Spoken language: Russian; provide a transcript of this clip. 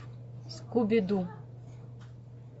скуби ду